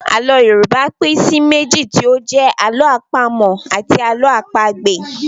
Àlọ́ Yorùbá pín sí méjì tí ó jẹ́ Àlọ́ àpamọ̀ àti Àlọ́ àpagbè